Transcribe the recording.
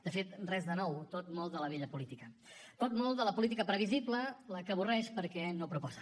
de fet res de nou tot molt de la vella política tot molt de la política previsible la que avorreix perquè no proposa